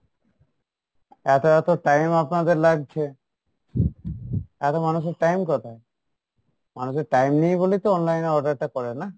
এতো এতো time আপনাদের লাগছে, এতো মানুষের time কোথায়? মানুষের time নেই বলে তো online এ order টা করে না?